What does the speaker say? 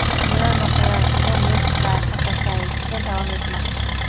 Dunyo miqyosida neft narxi pasayishda davom etmoqda.